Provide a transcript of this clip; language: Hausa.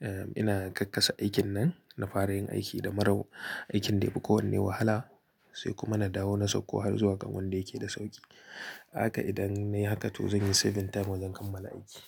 eh ina kakkasa aikin nan, na fara yin aiki da mara, aikin da ya fi kowanne wahala, sai kuma na dawo na sauko har zuwa kan wanda yake da sauƙi. Haka idan nai haka to zan yi saving time wajen kammala aiki.